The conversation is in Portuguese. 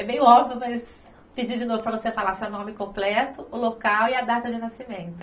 É meio óbvio, mas vou pedir de novo para você falar seu nome completo, o local e a data de nascimento.